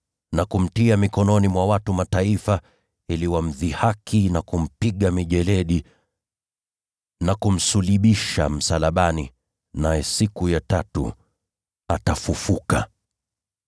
na kumtia mikononi mwa watu wa Mataifa ili wamdhihaki na kumpiga mijeledi na kumsulubisha msalabani. Naye atafufuliwa siku ya tatu!”